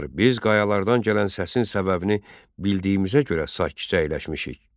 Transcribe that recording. Hökmdar, biz qayalardan gələn səsin səbəbini bildiyimizə görə sakitcə əyləşmişik.